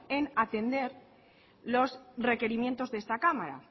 en atender los requerimientos de esta cámara